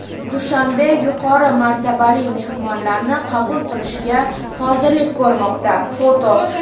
Dushanbe yuqori martabali mehmonlarni qabul qilishga hozirlik ko‘rmoqda (foto).